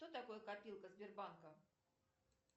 что такое копилка сбербанка